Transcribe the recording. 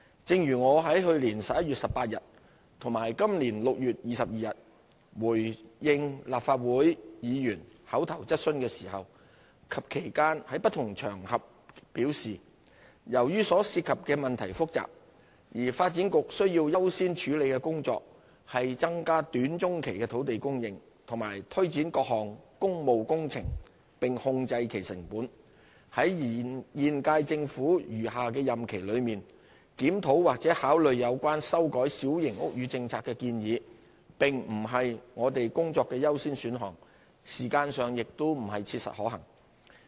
正如我在去年11月18日和本年6月22日回應立法會議員口頭質詢時及其間在不同場合表示，由於所涉及的問題複雜，而發展局需要優先處理的工作，是增加短、中期的土地供應和推展各項工務工程並控制其成本，在現屆政府餘下的任期內，檢討或考慮有關修改小型屋宇政策的建議並不是我們工作的優先選項，時間上亦不切實可行。